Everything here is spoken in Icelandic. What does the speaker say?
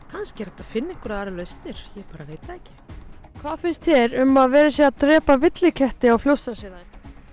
kannski er hægt að finna einhverjar aðrar lausnir ég bara veit það ekki hvað finnst þér um að verið sé að drepa villiketti á Fljótsdalshéraði